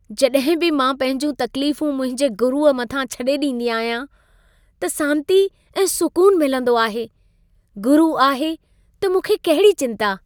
जॾहिं बि मां पंहिंजूं तकलीफूं मुंहिंजे गुरुअ मथां छॾे ॾींदी आहियां, त सांती ऐं सुकुन मिलंदो आहे। गुरु आहे, त मूंखे कहिड़ी चिंता!